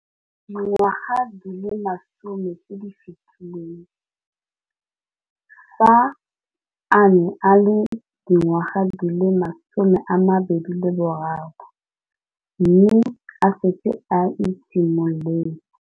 Dingwaga di le 10 tse di fetileng, fa a ne a le dingwaga di le 23 mme a setse a itshimoletse.